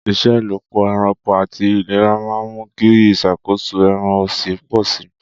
Ìṣelọ́pọ̀ ẹranko àti ìlera máa ń mú kí ìṣàkóso ẹran ọ̀sìn pọ̀ sí i.